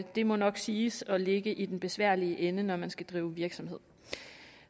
det må nok siges at ligge i den besværlige ende når man skal drive virksomhed